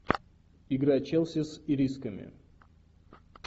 игра челси с ирисками